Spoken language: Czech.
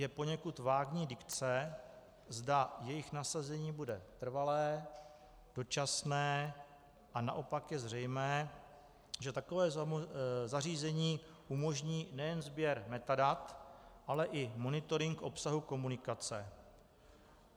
Je poněkud vágní dikce, zda jejich nasazení bude trvalé, dočasné, a naopak je zřejmé, že takové zařízení umožní nejen sběr metadat, ale i monitoring obsahu komunikace.